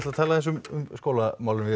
að tala aðeins um skólamálin við